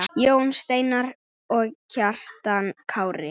Jón Steinar og Kjartan Kári.